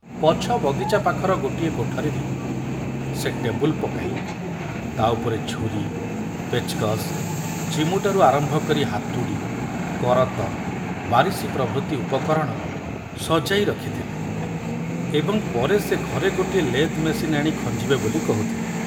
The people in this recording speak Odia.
ପଛ ବଗିଚା ପାଖର ଗୋଟିଏ କୋଠରୀରେ ସେ ଟେବୁଲ ପକାଇ ତା ଉପରେ ଛୁରୀ, ପେଚକସ, ଚିମୁଟାରୁ ଆରମ୍ଭ କରି ହାତୁଡ଼ି, କରତ, ବାରିଶି ପ୍ରଭୃତି ଉପକରଣ ସଜାଇ ରଖିଥିଲେ ଏବଂ ପରେ ସେ ଘରେ ଗୋଟିଏ ଲେଦ୍‌ ମେସିନ ଆଣି ଖଞ୍ଜିବେ ବୋଲି କହୁଥିଲେ।